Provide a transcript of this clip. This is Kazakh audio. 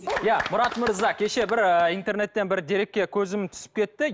иә мұрат мырз а кеше бір ы интернеттен бір дерекке көзім түсіп кетті